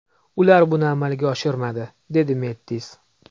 Ular buni amalga oshirmadi”, dedi Mettis.